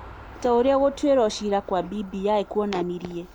Ta ũrĩa gũtuĩrwo ciira kwa BBI kuonanirie.